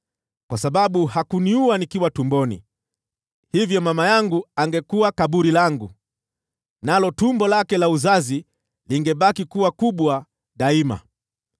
Kwa sababu hakuniua nikiwa tumboni, hivyo mama yangu angekuwa kaburi langu, nalo tumbo lake la uzazi lingebaki kuwa kubwa daima.